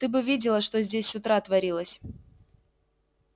ты бы видела что здесь с утра творилось